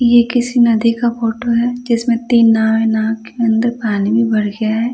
ये किसी नदी का फोटो है जिसमें तीन नाव है नाव के अंदर पानी भी भर गया है।